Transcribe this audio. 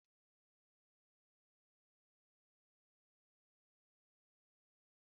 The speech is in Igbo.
Ì hụrụ ji eyere èyé dị na tebụl?